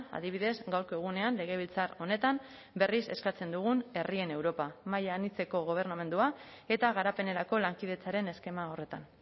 adibidez gaurko egunean legebiltzar honetan berriz eskatzen dugun herrien europa maila anitzeko gobernamendua eta garapenerako lankidetzaren eskema horretan